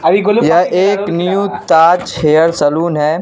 यह एक new Taj hair salon है।